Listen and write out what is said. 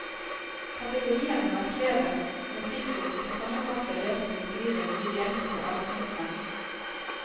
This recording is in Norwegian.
Kategoriene markeres med stikkord som sammenfatter det som beskrives i de enkelte avsnittene.